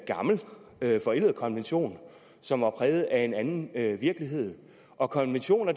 gammel forældet konvention som er præget af en anden virkelighed og konventioner